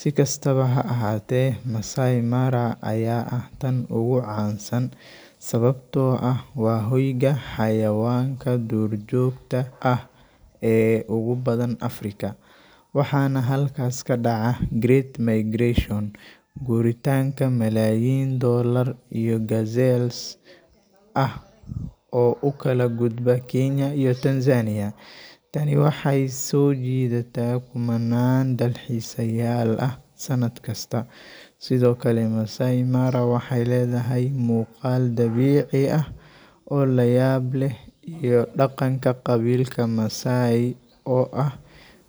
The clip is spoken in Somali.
Sikastaba ha ahate Massai Mara aya ah taan ugu cansan. Sababto aah wa hooyga xayawanaka duur jogta ah ee ugu badan Africa. Waxana halkas kadaca Great migration guuritanka malaayiin dollar iyo gazelles aah o u kala guubda Kenya iyo Tanzania. Tani waxay sojidata kumanan dalxisa yaal ah sanadkasta sido kale Massai Mara waxay ledahay muqaal dabici ah o layaab leeh iyo daqanka qabiilka Massai o aah